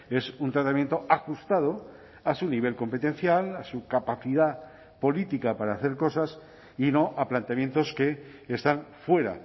es un tratamiento ajustado a su nivel competencial a su capacidad política para hacer cosas y no a planteamientos que están fuera